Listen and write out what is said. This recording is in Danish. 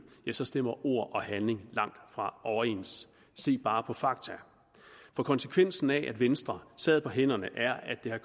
stemmer ord og handling langtfra overens se bare på fakta for konsekvensen af at venstre sad på hænderne er at det har